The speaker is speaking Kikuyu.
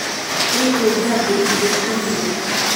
ĩkũngathĩ ĩrĩa ũtũmĩrire